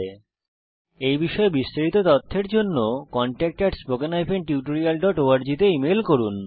এই বিষয় বিস্তারিত তথ্যের জন্য contactspoken tutorialorg তে ইমেল করুন